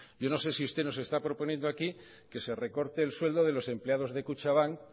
yo no sé si usted nos está proponiendo aquí que se recorte el sueldo de los empleados de kutxabank